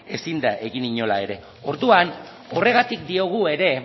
ezin da egin inola ere orduan horregatik diogu ere